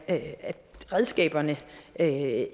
at redskaberne ikke